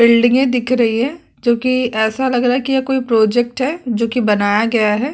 बिल्डिंगे दिख रही हैं जो की ऐसा लग रहा है कि कोई प्रोजेक्ट है जो कि बनाया गया है।